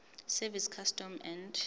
service customs and